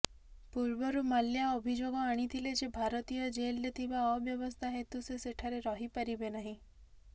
ପୂର୍ବରୁ ମାଲ୍ୟା ଅଭିଯୋଗ ଆଣିଥିଲେ ଯେ ଭାରତୀୟ ଜେଲ୍ରେ ଥିବା ଅବ୍ୟବସ୍ଥା ହେତୁ ସେ ସେଠାରେ ରହିପାରିବେ ନାହିଁ